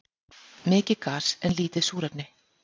Mikið gas en lítið súrefni